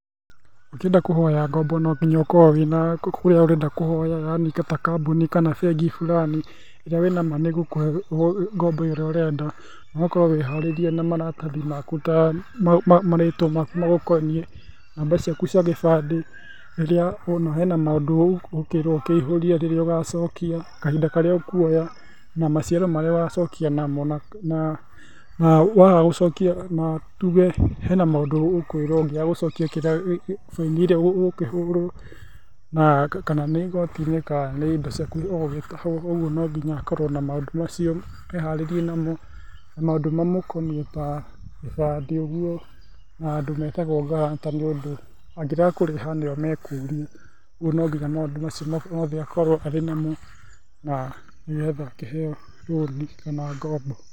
Ũngĩenda kũhoya ngombo no gĩnya ũkorwo na kurĩa ũrenda kũhoya yanĩ ta kambũnĩ kana bengĩ bũranĩ ĩrĩa wĩ nama nĩ gũkũhe ngombo ĩrĩa ũrenda ũgakorwo wĩ harĩerĩena marathĩ makũ ta marĩĩtwa makũ magũkonĩíe ,namba cĩakũ cĩa gĩbandĩ rĩrĩa wona hena maũndũ ũkerwo ũkĩhũrĩe rĩrĩa ũgacokĩa, kahĩnda karĩa ũkũoya na macĩaro marĩa ũgacokĩa namo na waga gũcokĩa na tũge he na maũndũ ũkwĩrwo ũgĩaga gũcokĩa baĩnĩ ĩrĩa ũgũkĩhurwo kana nĩ ĩgotĩ-ĩnĩ kana nĩ ĩndo cĩakũ ũgũgĩtahwo ũgũo nogĩnya akorwo na maũndũ macĩo eharĩrĩe namo maũndũ mamũkonĩĩ ta gĩbandĩ ũgũo na andũ metagwo guarantor nĩ ũndũ agĩrega kũrĩha nĩo mekũrĩo rĩũ no gĩnya maũndũ macĩo mothe akorwo arĩ namo na nĩ getha akĩheo rũnĩ kana ngombo.